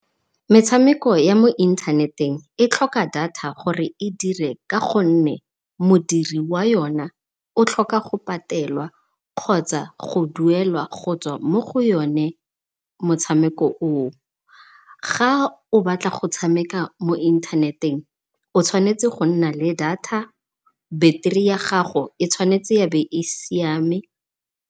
Metshameko ya mo inthaneteng e tlhoka data gore e dire ka gonne modiri wa yona o tlhoka go patelwa kgotsa go duelwa go tswa mo go yone motshameko oo. Ga o batla go tshameka mo inthaneteng o tshwanetse go nna le data, battery ya gago e tshwanetse e be e siame.